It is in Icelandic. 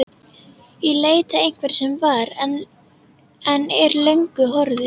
Í leit að einhverju sem var, en er löngu horfið.